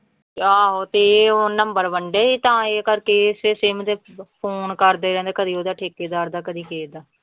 ਆਹੋ ਤੇ ਇਹ ਉਹ number ਵੰਡੇ ਸੀ ਤਾਂ ਇਹ ਕਰਕੇ ਇਸੇ ਸਿਮ ਦੇ ਫ਼ੋਨ ਕਰਦੇ ਰਹਿੰਦੇ ਕਦੇ ਉਹਦਾ ਠੇਕੇਦਾਰ ਦਾ ਕਦੇ ਕਿਸੇ ਦਾ।